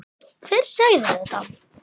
Hver sagði þetta?